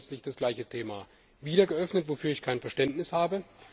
Jetzt wird plötzlich das gleiche Thema wieder aufgegriffen, wofür ich kein Verständnis habe.